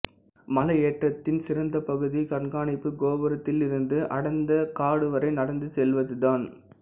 மலையேற்றத்தின் சிறந்த பகுதி கண்காணிப்புக் கோபுரத்திலிருந்து அடர்ந்தத காடு வரை நடந்து செல்வதுதான்